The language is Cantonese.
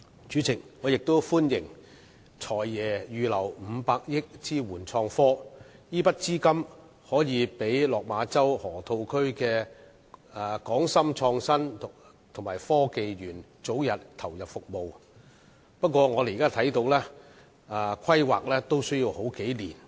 主席，我亦歡迎"財爺"預留500億元支援創科，這筆資金可讓落馬洲河套區的港深創新及科技園早日投入服務，但我們看到單是規劃也需時數年。